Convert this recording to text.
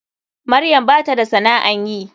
Maryam bata da sana'an yi.